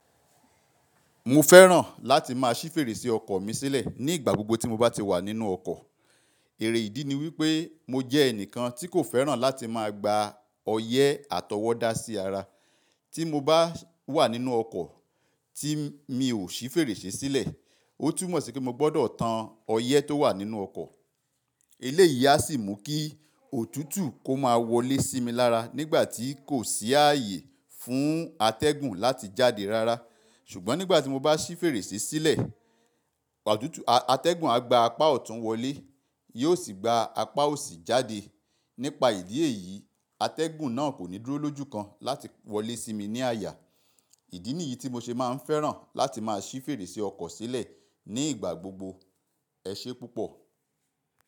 Mo fẹ́ràn láti máa ṣí fèrèsé ọkọ̀ mi sílẹ̀ ní ìgbà gbogbo tí mo bá ti wà nínú ọkọ̀. Èrè ìdí ni wípé mo jẹ́ ẹnìkan tí kò fẹ́ràn láti máa gba ọyẹ́ àtọwọ́dá sí ara. Tí mo bá wà nínú ọkọ̀ tí mi ò ṣí fèrèsé sílẹ̀, ó tún mọ̀ sí pé mo gbọ́dọ̀ tan ọyẹ́ tó wà nínú ọkọ̀. Eléyìí á sì mú kí òtútù kó máa wọlé sí mi lára nígbà tí kò sí ààyè fún atẹ́gùn láti jáde rárá. Ṣùgbọ́n nígbà tí mo bá ṣí fèrèsé sílẹ̀, atẹ́gùn á gba apá ọ̀tún wọlé, yóò sì gba apá òsì jáde. Nípa ìdí èyí, atẹ́gùn náà kò ní dúró lójúkan láti wọlé sí mi ní àyà. Ìdí nìyí tí mo ṣe máa ń fẹ́ràn láti máa ṣí fèrèsé ọkọ̀ sílẹ̀ ní ìgbà gbogbo. Ẹ ṣe púpọ̀.